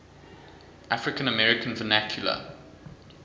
african american vernacular